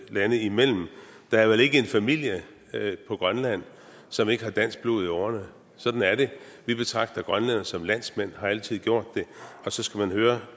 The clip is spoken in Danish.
lande imellem der er vel ikke en familie på grønland som ikke har dansk blod i årerne sådan er det vi betragter grønlænderne som landsmænd og har altid gjort det og så skal man høre